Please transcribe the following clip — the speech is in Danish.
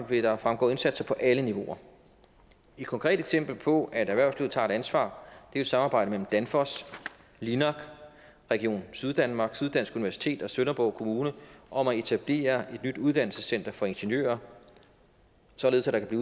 vil der fremgå indsatser på alle niveauer et konkret eksempel på at erhvervslivet tager et ansvar er samarbejdet mellem danfoss linak region syddanmark syddansk universitet og sønderborg kommune om at etablere et nyt uddannelsescenter for ingeniører således at der i